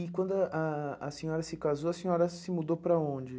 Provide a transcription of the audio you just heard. E quando ah a senhora se casou, a senhora se mudou para onde?